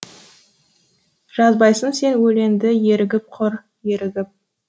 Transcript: жазбайсың сен өлеңді ерігіп құр ерігіп